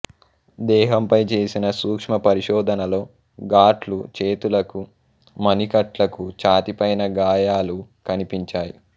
దేహంపై చేసిన సూక్ష్మ పరిశోధనలో గాట్లు చేతులకు మణికట్లకు ఛాతీపైన గాయాలూ కనిపించాయి